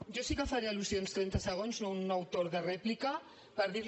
jo sí que faré al·lusions trenta segons no un nou torn de rèplica per dir li